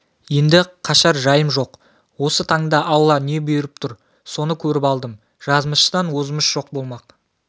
енді қашар жайым жоқ осы таңда алла не бұйырып тұр соны көріп алдым жазмыштан озмыш болмақ